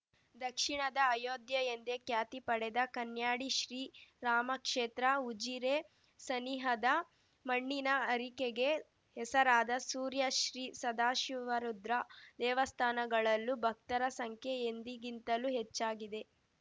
ದಕ್ಷಿಣದ ಅಯೋಧ್ಯೆ ಎಂದೇ ಖ್ಯಾತಿ ಪಡೆದ ಕನ್ಯಾಡಿ ಶ್ರೀ ರಾಮಕ್ಷೇತ್ರ ಉಜಿರೆ ಸನಿಹದ ಮಣ್ಣಿನ ಹರಕೆಗೆ ಹೆಸರಾದ ಸುರ್ಯ ಶ್ರೀ ಸದಾಶಿವರುದ್ರ ದೇವಸ್ಥಾನಗಳಲ್ಲೂ ಭಕ್ತರ ಸಂಖ್ಯೆ ಎಂದಿಗಿಂತಲೂ ಹೆಚ್ಚಾಗಿದೆ